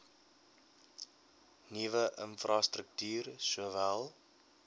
nuwe infrastruktuur sowel